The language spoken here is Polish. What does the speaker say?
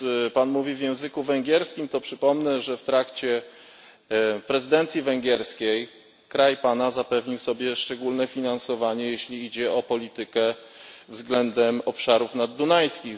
Pan mówi w języku węgierskim, to przypomnę, że w trakcie prezydencji węgierskiej kraj Pana zapewnił sobie szczególne finansowanie z przeznaczeniem na politykę względem obszarów naddunajskich.